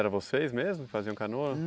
Eram vocês mesmo que faziam canoa?